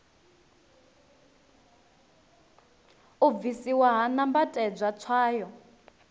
u bvisiwa ha nambatedzwa tswayo